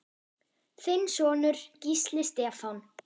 Þinn sonur, Gísli Stefán.